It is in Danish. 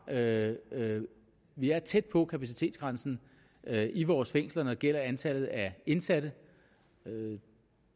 at at vi er tæt på kapacitetsgrænsen i vores fængsler når det gælder antallet af indsatte